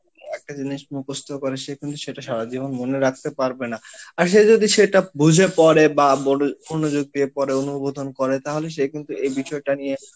একটা জিনিস মুখস্ত করে সে কিন্তু সেটা সারা জীবন মনে রাখতে পারবে না আর সে যদি সেটা বুঝে পড়ে বা মনোযোগ দিয়ে পড়ে অনুবোধন করে তাহলে সে কিন্তু এই বিষয়টা নিয়ে